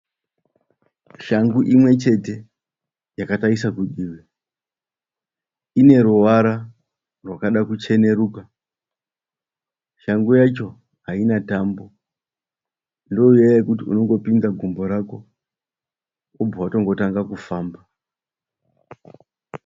Shangu imwechete yakatarisa kudivi. Ineruvara rwakada kucheneruka. Shangu yacho haina tambo. Ndoiya yokuti unopinza gumbo rako wobva watongotanga kufamba.